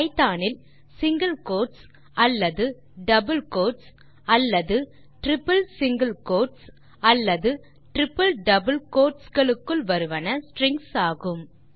Python இல் single quotes அல்லது double quotes அல்லது டிரிப்பிள் சிங்கில் கோட்ஸ் அல்லது டிரிப்பிள் டபிள் கோட்ஸ் க்குள் வருவன ஸ்ட்ரிங்ஸ் ஆகும்